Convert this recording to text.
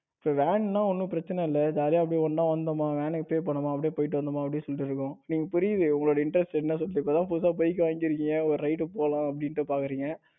so van னா ஒன்னும் பிரச்சனை இல்ல. ஜாலியா அப்படியே ஒண்ணா வந்தோமா அப்படியே போனோமா போயிட்டு வந்தோமா அப்படின்னு சொல்லிட்டு இருக்கும். எனக்கு புரியுது உங்களோட Intrest என்ன சொல்றது இப்பதான் புதுசா bike வாங்கி இருக்கீங்க ஒரு ride போலாம் அப்படின்னு பாக்குறீங்க